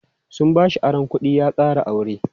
Sun bashi aron kuɗi ya ƙara aure.